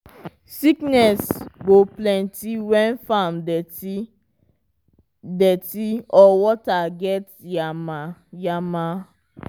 sickness go plenty when farm dirty dirty or water get yama-yama.